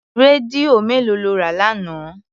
Rédíò mélòó lọ rà lánàá?